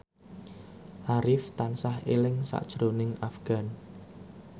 Arif tansah eling sakjroning Afgan